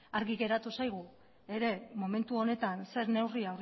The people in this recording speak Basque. argi geratu zaigu ere momentu honetan zer neurri